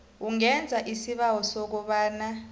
ungenza isibawo sokobana